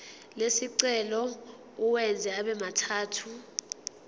lesicelo uwenze abemathathu